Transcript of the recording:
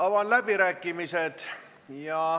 Avan läbirääkimised.